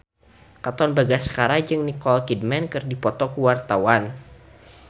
Katon Bagaskara jeung Nicole Kidman keur dipoto ku wartawan